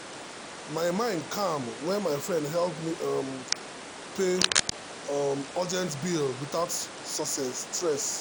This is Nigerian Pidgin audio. my mind calm when my friend help me um pay um urgent bill without stress.